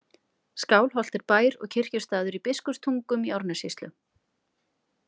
Skálholt er bær og kirkjustaður í Biskupstungum í Árnessýslu.